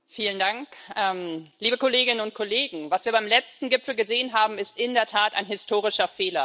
Herr Präsident, liebe Kolleginnen und Kollegen! Was wir beim letzten Gipfel gesehen haben, ist in der Tat ein historischer Fehler.